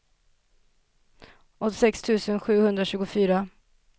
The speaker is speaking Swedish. åttiosex tusen sjuhundratjugofyra